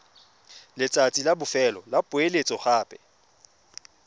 letsatsi la bofelo la poeletsogape